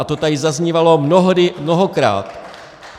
A to tady zaznívalo mnohdy, mnohokrát.